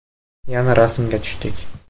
Yana rasmga tushdik.